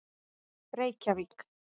reykjavík